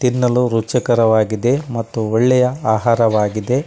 ತಿನ್ನಲು ರುಚಿಕರವಾಗಿದೆ ಮತ್ತು ಒಳ್ಳೆಯ ಆಹಾರವಾಗಿದೆ.